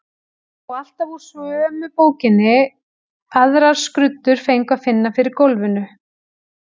Og alltaf úr sömu bókinni, aðrar skruddur fengu að finna fyrir gólfinu.